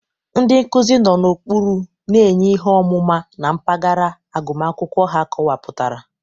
Ndị nkuzi nọ n'okpuru na-enye ihe ọmụma na mpaghara agụmakwụkwọ ha akọwapụtara.